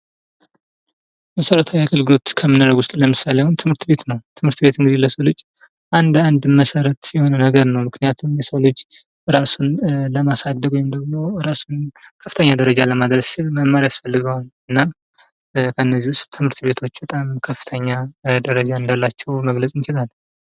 መሰረታዊ የአገልግሎት ከምንለው ውስጥ ለምሳሌ አሁን ትምህርት ቤት ነው ፤ ትምህርት ቤት ለሰው ልጅ እንደ አንድ መሰረት የሆነ ነገር ነው ፤ ምክንያቱም የሰው ልጅ ራሱን ለማሳደግ ወይም ደግሞ እራሱን ከፍተኛ ደረጃ ለማድረስ ትምህርት ያስፈልገዋል ፤ እና ከነዚህ ውስጥ ትምህርት ቤቶች በጣም ከፍተኛ ደረጃ እንዳላቸው መግለጽ እንችላለን።